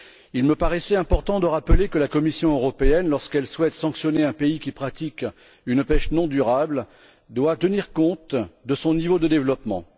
Il me paraît important de rappeler que la Commission européenne, lorsqu'elle souhaite sanctionner un pays qui pratique une pêche non durable, doit tenir compte de son niveau de développement.